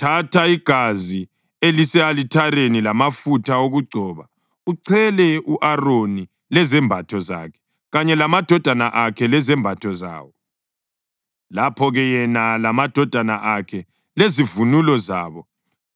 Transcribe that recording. Thatha igazi elise-alithareni lamafutha okugcoba uchele u-Aroni lezembatho zakhe kanye lamadodana akhe lezembatho zawo. Lapho-ke yena lamadodana akhe lezivunulo zabo